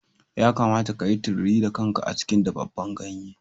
Ya kamata ka yi tururi da kanka a cikin dafaffen ganye.